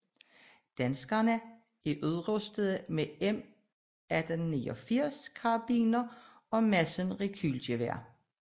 Danskerne er udrustede med M1889 karabiner og Madsen rekylgeværer